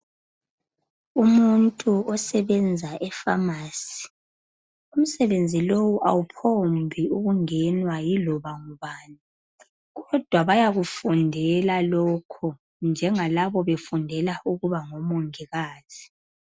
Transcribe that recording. Umuntu isebenza efamasi umsebenzi lowu awuphombi kungenwa laloba ngubani kodwa bayakufundela lokho njengalabo befundela ukuba ngo mongikazi